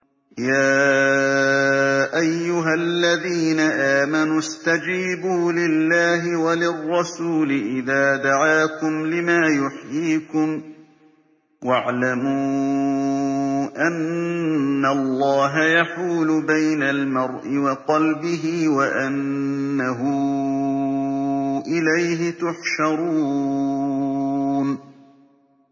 يَا أَيُّهَا الَّذِينَ آمَنُوا اسْتَجِيبُوا لِلَّهِ وَلِلرَّسُولِ إِذَا دَعَاكُمْ لِمَا يُحْيِيكُمْ ۖ وَاعْلَمُوا أَنَّ اللَّهَ يَحُولُ بَيْنَ الْمَرْءِ وَقَلْبِهِ وَأَنَّهُ إِلَيْهِ تُحْشَرُونَ